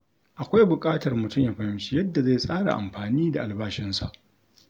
Akwai buƙatar mutum ya fahimci yadda zai tsara amfani da albashinsa.